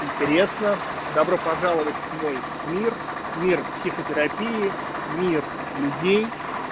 интересно добро пожаловать в мой мир мир психотерапии мир людей